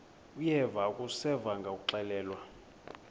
uyeva akuseva ngakuxelelwa